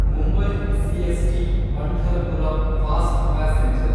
Mumbai CST Pandharpur fast passenger